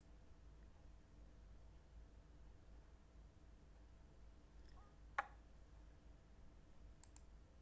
ئاژەڵەکان لە چەندان خانە دروستبوون شت دەخۆن و هەرسی دەکەن زۆرینەی ئاژەڵەکان دەتوانن بجوڵێن